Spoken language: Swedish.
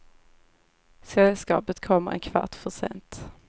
Sällskapet kommer en kvart för sent.